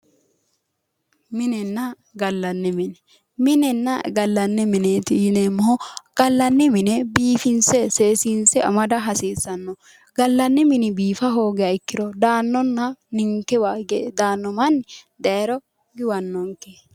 Minenna gallanni mine, minenna gallani mineti yinneemmohu ,gallanni mine seekkine biifinse ,seesinse amada hasiisano, gallani mini biifanokkiha ikkiro daanonna ninkewa daano manni daayiro guwanonke.